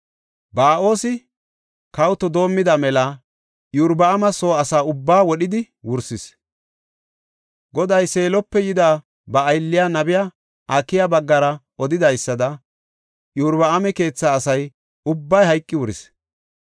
Ba7oosi kawoto doomida mela Iyorbaama soo asa ubbaa wodhidi wursis. Goday Seelope yida ba aylliya, nabiya Akiya baggara odidaysada Iyorbaama keetha asa ubbay hayqi wuris.